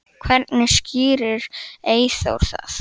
Hvernig skýrir Eyþór það?